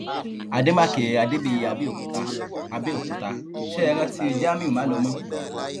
àdèmàkè adébíyí àbẹòkúta àbẹòkúta ṣẹ ẹ rántí jamiu málòmọ